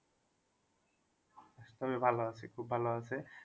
শরীর ভালো আছে খুব ভালো আছে।